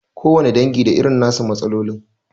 Kowane dangi da irin na su matsalolin.